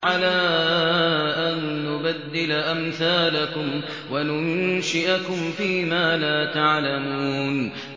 عَلَىٰ أَن نُّبَدِّلَ أَمْثَالَكُمْ وَنُنشِئَكُمْ فِي مَا لَا تَعْلَمُونَ